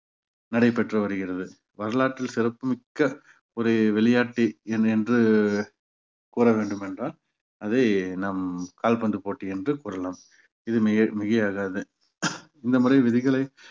நடைபெற்று வருகிறது வரலாற்றில் சிறப்புமிக்க ஒரு விளையாட்டு என்ன என்று கூற வேண்டும் என்றால் அதை நாம் கால்பந்து போட்டி என்று கூறலாம் இது மிகை~ மிகையாகாது இந்த முறை விதிகளை